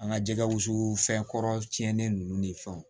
An ka jɛgɛ wusu fɛn kɔrɔ tiɲɛnen ninnu ni fɛnw